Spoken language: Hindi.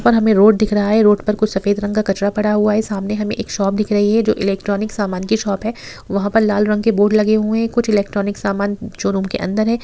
और हमें रोड दिख रहा है | रोड पर कुछ सफेद रंग का कचरा पड़ा है हुआ है सामने हमें एक शॉप दिख रही है जो इलेक्ट्रॉनिक्स सामान की शॉप की है | वहाँ पर लाल रंग के बोर्ड लगे हुए हैं | कुछ इलेक्ट्रॉनिक सामान जो रूम के अंदर है ।